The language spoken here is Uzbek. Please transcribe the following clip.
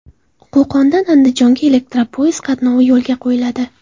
Qo‘qondan Andijonga elektropoyezd qatnovi yo‘lga qo‘yiladi.